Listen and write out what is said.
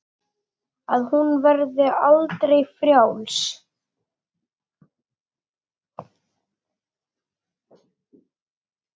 Að hún verði aldrei frjáls.